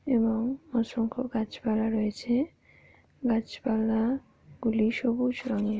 এবং অসংখ্য গাছ পালা রয়েছে। গাছপালা গুলি সবুজ রঙের।